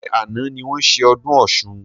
Ṣé àna ni wọn ṣe ọdún Ọ̀sun?